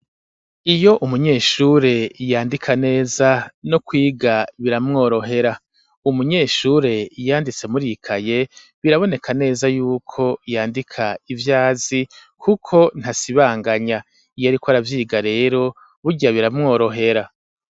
Iyo umunyeshure yandika neza no kwiga biramworohera ,umunyeshure yanditse muri kaye biraboneka neza y'uko yandika ivyazi kuko ntasibanganya, iyariko aravyiga rero burya biramworohera.